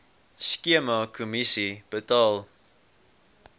skema kommissie betaal